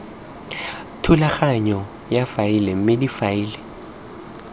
thulaganyo ya faele mme difaele